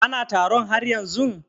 Ana taron har yanzun?